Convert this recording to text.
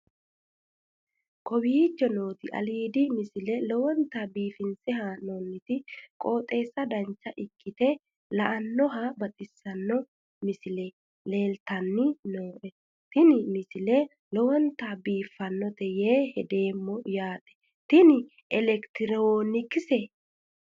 kowicho nooti aliidi misile lowonta biifinse haa'noonniti qooxeessano dancha ikkite la'annohano baxissanno misile leeltanni nooe ini misile lowonta biifffinnote yee hedeemmo yaate tini elekitiroonikkise